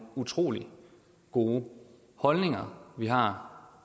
utrolig gode holdninger vi har